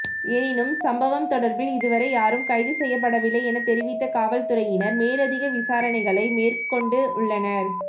எனினும் சம்பவம் தொடர்பில் இதுவரை யாரும் கைது செய்யப்படவில்லை எனத் தெரிவித்த காவல்துறையினர் மேலதிக விசாரணைகளை மேற்கொண்டுள்ளனர்